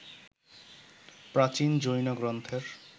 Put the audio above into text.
প্রাচীন জৈন গ্রন্থের